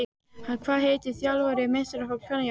Hvað heitir þjálfari meistaraflokks kvenna hjá Breiðablik?